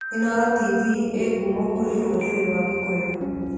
Inooro TV ĩĩ ngumo kũrĩ rũrĩrĩ rwa Gikuyu.